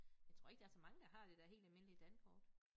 Jeg tror ikke der så mange der har det der helt almindelige Dankort